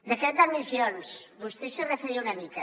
decret d’admissions vostè s’hi referia una mica